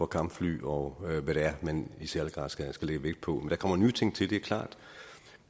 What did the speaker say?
kampfly og hvad det er man i særlig grad skal lægge vægt på der kommer nye ting til det er klart